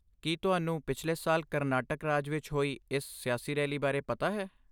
ਕੀ ਤੁਹਾਨੂੰ ਪਿਛਲੇ ਸਾਲ ਕਰਨਾਟਕ ਰਾਜ ਵਿੱਚ ਹੋਈ ਇਸ ਸਿਆਸੀ ਰੈਲੀ ਬਾਰੇ ਪਤਾ ਹੈ?